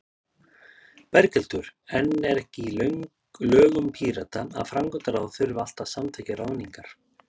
Berghildur: En er ekki í lögum Pírata að framkvæmdaráð þurfi alltaf að samþykkja ráðningar?